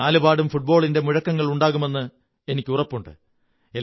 നാലുപാടും ഫുട്ബോളിന്റെ മുഴക്കമുണ്ടാകുമെന്ന് എനിക്കുറപ്പുണ്ട്